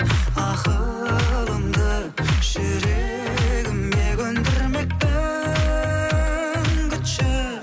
ақылымды жүрегіме көндірмекпін күтші